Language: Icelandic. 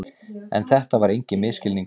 En þetta var enginn misskilningur.